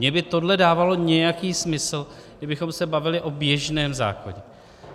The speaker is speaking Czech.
Mně by tohle dávalo nějaký smysl, kdybychom se bavili o běžném zákoně.